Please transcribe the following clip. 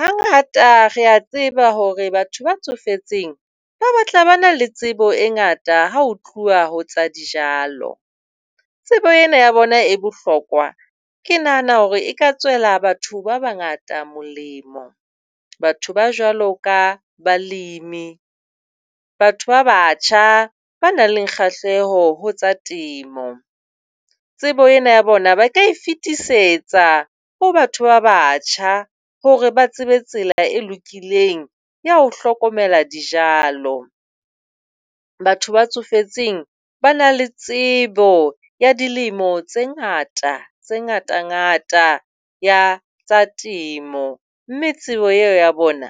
Hangata re a tseba hore batho ba tsofetseng ba batla ba na le tsebo e ngata, ha ho tluwa ho tsa dijalo, tsebo ena ya bona e bohlokwa. Ke nahana hore e ka tswela batho ba bangata molemo. Batho ba jwalo ka balemi, batho ba batjha ba nang le kgahleho tsa temo. Tsebo ena ya bona ba ka e fetisetsa ho batho ba batjha hore ba tsebe tsela e lokileng ya ho hlokomela dijalo. Batho ba tsofetseng ba na le tsebo ya dilemo tse ngata tse ngata, tse ngata ya tsa temo, mme tsebo eo ya bona